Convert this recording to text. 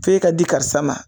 F'e ka di karisa ma